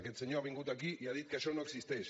aquest senyor ha vingut aquí i ha dit que això no existeix